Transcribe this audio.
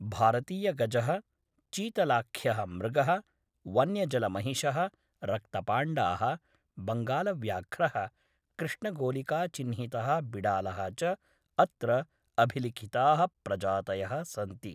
भारतीयगजः, चीतलाख्यः मृगः, वन्यजलमहिषः, रक्तपाण्डाः, बङ्गालव्याघ्रः, कृष्णगोलिकाचिह्नितः बिडालः च अत्र अभिलिखिताः प्रजातयः सन्ति ।